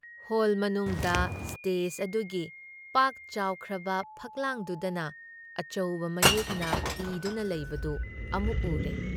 Hall ꯃꯅꯨꯡꯗ stage ꯑꯗꯨꯒꯤ ꯄꯥꯛ ꯆꯥꯎꯈ꯭ꯔꯕ ꯐꯛꯂꯥꯡꯗꯨꯗꯅ ꯑꯆꯧꯕ ꯃꯌꯦꯛꯅ ꯏꯗꯨꯅ ꯂꯩꯕꯗꯨ ꯑꯃꯨꯛ ꯎꯔꯦ ꯫